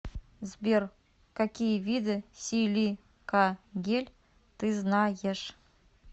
сбер какие виды силикагель ты знаешь